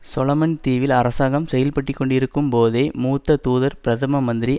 Solomon தீவில் அரசாங்கம் செயல்பட்டுக்கொண்டிருக்கும் போதே மூத்த தூதர் பிரதம மந்திரி